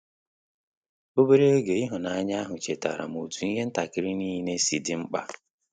Obere oge ịhụnanya ahụ chetara m otu ihe ntakịrị n'ile si dị mkpa